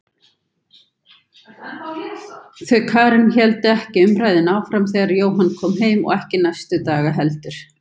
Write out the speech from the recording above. Þau Karen héldu ekki umræðunni áfram þegar Jóhann kom heim og ekki næstu daga heldur.